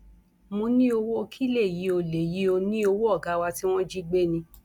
mo ní owó kí lèyí ò lèyí ò ní owó ọgá wa tí wọn jí gbé ni